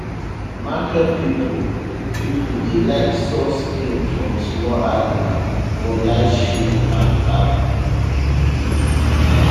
market people people dey like soft skin from small animal for light shoe and cap